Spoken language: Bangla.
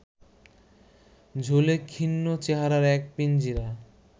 ঝুলে খিন্ন চেহারার এক পিঞ্জিরা